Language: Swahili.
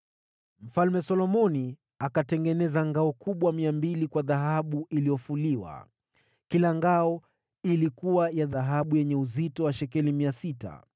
Mfalme Solomoni akatengeneza ngao kubwa 200 kwa dhahabu iliyofuliwa. Kila ngao ilikuwa na dhahabu yenye uzito wa shekeli 600